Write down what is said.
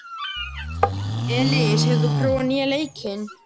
Elis, hefur þú prófað nýja leikinn?